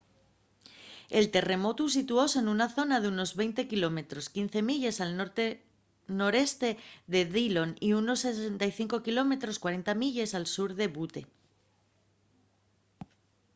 el terremotu situóse nuna zona d’unos 20 km 15 milles al norte noreste de dillon y unos 65 km 40 milles al sur de butte